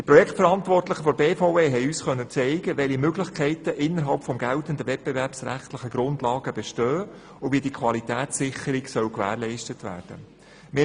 Die Projektverantwortlichen der BVE konnten uns zeigen, welche Möglichkeiten innerhalb des geltenden Wettbewerbsrechts bestehen und wie die Qualitätssicherung gewährleistet werden soll.